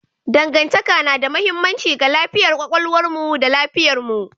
Dangantaka na da mahimmanci ga lafiyar kwakwalwarmu da lafiyarmu.